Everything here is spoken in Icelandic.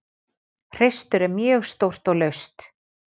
Hreistur er mjög stórt og laust.